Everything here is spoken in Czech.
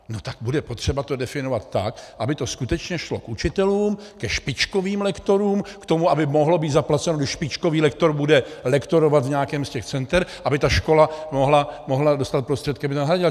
No tak bude potřeba to definovat tak, aby to skutečně šlo k učitelům, ke špičkovým lektorům, k tomu, aby mohlo být zaplaceno, když špičkový lektor bude lektorovat v nějakém z těch center, aby ta škola mohla dostat prostředky, aby to nahradila.